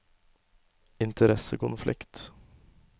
interessekonflikt